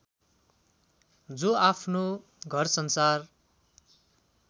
जो आफ्नो घरसंसार